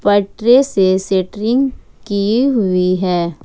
पटरे से सेट्रिंग की हुई है।